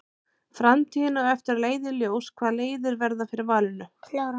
Framtíðin á eftir að leiða í ljós hvaða leiðir verða fyrir valinu.